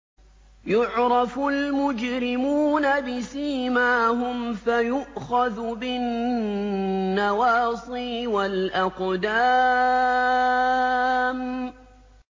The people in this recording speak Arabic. يُعْرَفُ الْمُجْرِمُونَ بِسِيمَاهُمْ فَيُؤْخَذُ بِالنَّوَاصِي وَالْأَقْدَامِ